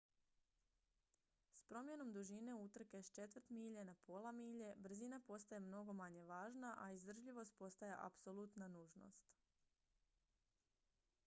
s promjenom dužine utrke s četvrt milje na pola milje brzina postaje mnogo manje važna a izdržljivost postaje apsolutna nužnost